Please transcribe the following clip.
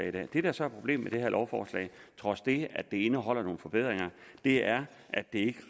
i dag det der så er problemet med det her lovforslag trods det at det indeholder nogle forbedringer er at det ikke